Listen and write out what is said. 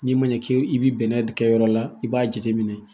N'i ma ɲɛ k'e i bɛ bɛnɛ de kɛ yɔrɔ la i b'a jateminɛ